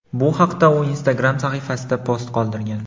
Bu haqda u Instagram sahifasida post qoldirgan.